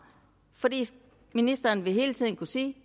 ministeren vil hele tiden kunne sige